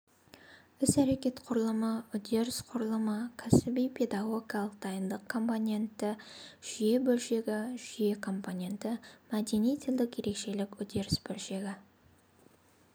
ісәрекет құрылымы үдеріс құрылымы кәсіби-педагогикалық дайындық компоненті жүйе бөлшегі жүйе компоненті мәдени-тілдік ерекшелік үдеріс бөлшегі